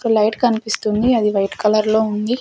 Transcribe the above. ఇక్కడ లైట్ కనిపిస్తుంది అది వైట్ కలర్ లో ఉంది.